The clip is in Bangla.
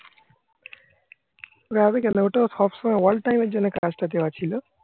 ওটা সবসময় all time র জন্য কাজটা দেওয়া ছিল